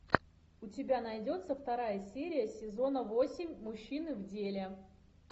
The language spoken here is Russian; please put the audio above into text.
у тебя найдется вторая серия сезона восемь мужчины в деле